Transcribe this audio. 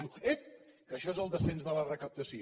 diu ep que això és el descens de la recaptació